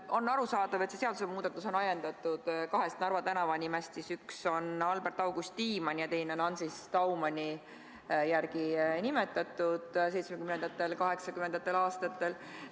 On arusaadav, et see seadusemuudatus on ajendatud kahest Narva tänavanimest, mis on 1970.–1980. aastatel nimetatud, üks Albert-August Tiimanni ja teine Ancis Daumani järgi.